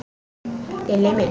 Lilli minn, góði besti.